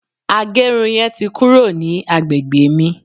agerun yen ti kuro ni agbegbe mi